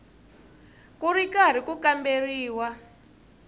ku ri karhi ku kamberiwa